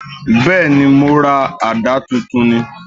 Bẹ́ẹ̀ni, mo ra àdá tuntun ni